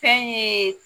Fɛn ye